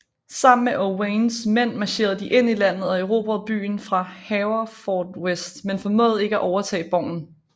Sammen med Owains mænd marcherede de ind i landet og erobrede byen Haverfordwest men formåede ikke at overtage borgen